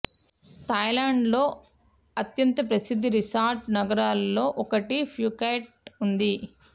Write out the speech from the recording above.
Thailand లో అత్యంత ప్రసిద్ధ రిసార్ట్ నగరాలలో ఒకటి ఫూకెట్ ఉంది